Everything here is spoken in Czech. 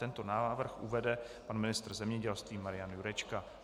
Tento návrh uvede pan ministr zemědělství Marian Jurečka.